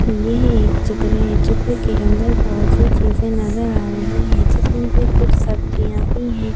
ये एक चित्र है चित्र के अंदर बहुत सी चीजें नजर आ रही हैं जिसमें से कुछ सब्जियां भी हैं।